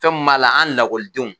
Fɛn mi m'a la an lakɔlidenw